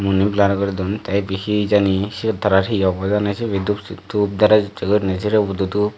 mu oni blur guri don te ibe hijani siyot tarar hi obo hijani sibe dup dup dress usse gurine sirebot o dup.